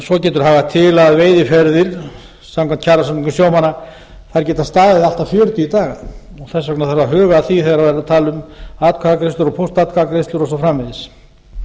svo getur hagað til að veiðiferðir samkvæmt kjarasamningum sjómanna geta staðið allt að fjörutíu daga þess vegna þarf að huga að því þegar það er verið að tala um atkvæðagreiðslur og póstatkvæðagreiðslur og svo framvegis